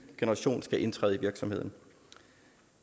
generation skal indtræde i virksomheden